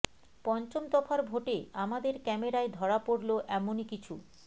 পঞ্চম দফার ভোটে আমাদের ক্যামেরায় ধরা পড়ল এমনই কিছু